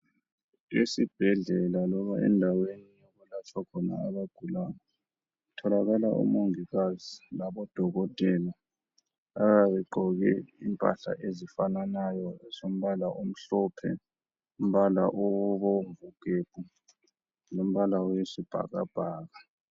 Esibhedlela loba endaweni okulatshwa khona abagulayo kutholakala omongikazi labodokotela abayabe begqoke impahla ezifananayo zombala omhlophe, umbala obomvu gebhu lombala oyisibhakabhaka.